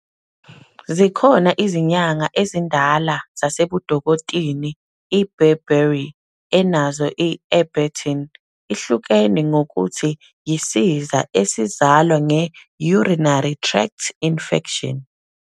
Ikhona izinyanga ezindala zasebudokotini, i-Bearberry, enazo i-Arbutin, ihlukene ngokuthi yisiza esizalwa nge urinary tract infection.